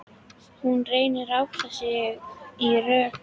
Hún reynir að átta sig í rökkrinu.